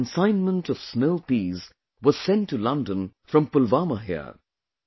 The first consignment of snow peas was sent to London from Pulwama here